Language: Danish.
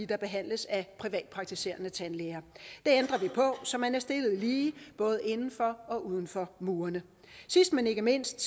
der behandles af privatpraktiserende tandlæger det ændrer vi på så man er stillet lige både inden for og uden for murene sidst men ikke mindst